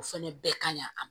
O fɛnɛ bɛɛ kaɲi a ma